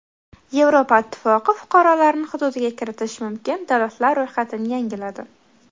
Yevropa ittifoqi fuqarolarini hududiga kiritishi mumkin davlatlar ro‘yxatini yangiladi.